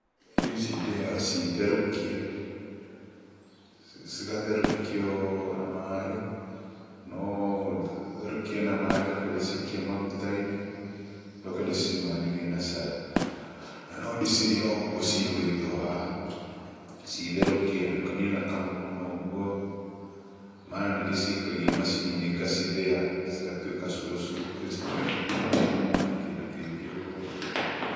Irio ici ndĩaga citherũkie, cigatherũkio na maĩ, no therũkie na maĩ njoke ndĩcikie maguta-inĩ, njoke ndĩcinyuanĩrie na cai. Na no ndĩcirĩe oũguo cihũrĩtwo haha, citherũkie ndukanie na kamũguna ũguo, mara nĩndĩcikagia macini-inĩ ngacithĩa cigatuĩka cũrũ cũrũ ndĩcitukanĩtie na mũguna na kĩndũ kĩngĩ ũguo.